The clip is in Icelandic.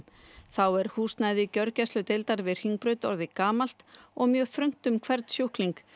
þá er húsnæði gjörgæsludeildar við Hringbraut orðið gamalt og mjög þröngt er um hvern sjúkling